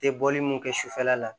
Tɛ bɔli mun kɛ sufɛla la